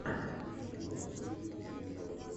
включи кино с актрисой сьюзен сарандон